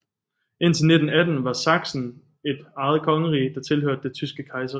Indtil 1918 var Sachsen et eget kongerige der tilhørte det tyske kejserrige